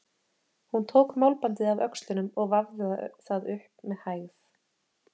Hún tók málbandið af öxlunum og vafði það upp með hægð.